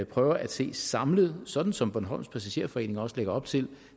prøver at se samlet sådan som bornholms passagerforening også lægger op til